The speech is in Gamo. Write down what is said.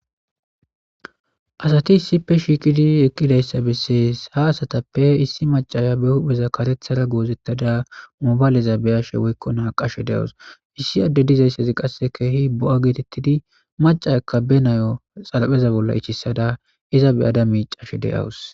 Asati isippe shiikidi eqqidayssa bessees ha asatappe issi macaya be hupheza karethara goozettada mobayleza beyashe woykko naa qashe de'awus issi adde dizayssezi qasse keehi bo'a geetettidi macayakka be nayo xalapheza bolla ichissada iza be ada miicashe de'awus.